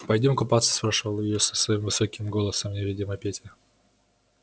пойдём купаться спрашивал её своим высоким голосом невидимый петя